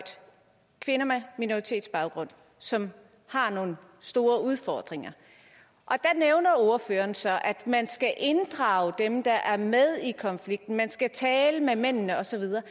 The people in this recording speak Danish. kvinder med minoritetsbaggrund som har nogle store udfordringer og ordføreren så at man skal inddrage dem der er med i konflikten man skal tale med mændene og så videre